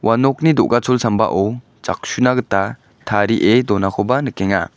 nokni do·gachol sambao jaksuna gita tarie donakoba nikenga.